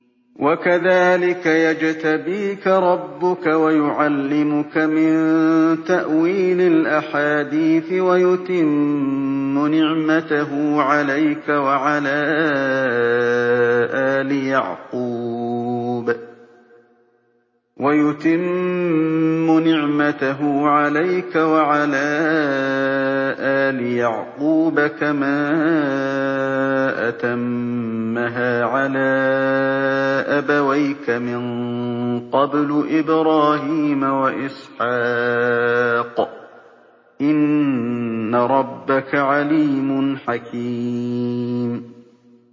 وَكَذَٰلِكَ يَجْتَبِيكَ رَبُّكَ وَيُعَلِّمُكَ مِن تَأْوِيلِ الْأَحَادِيثِ وَيُتِمُّ نِعْمَتَهُ عَلَيْكَ وَعَلَىٰ آلِ يَعْقُوبَ كَمَا أَتَمَّهَا عَلَىٰ أَبَوَيْكَ مِن قَبْلُ إِبْرَاهِيمَ وَإِسْحَاقَ ۚ إِنَّ رَبَّكَ عَلِيمٌ حَكِيمٌ